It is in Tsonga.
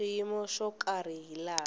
xiyimo xo karhi hi laha